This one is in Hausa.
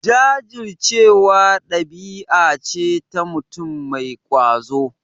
Jajircewa ɗabi'a ce ta mutum mai ƙwazo.